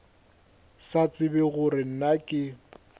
sa tsebe gore na ke